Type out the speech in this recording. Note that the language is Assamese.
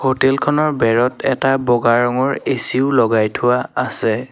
হোটেলখনৰ বেৰত এটা বগা ৰঙৰ এ_চিও লগাই থোৱা আছে।